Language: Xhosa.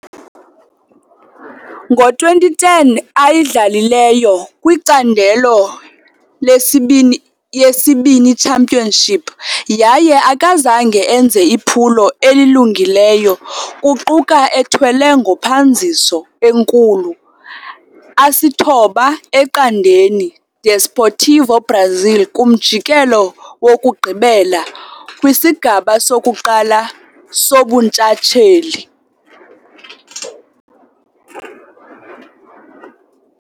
Ngo-2010, ayidlalileyo kwiCandelo lesibini yesiBini Championship, yaye akazange enze iphulo elungileyo, kuquka ethwele ngophanziso enkulu 9-0 Desportivo Brazil kumjikelo wokugqibela kwisigaba 1 sobuntshatsheli.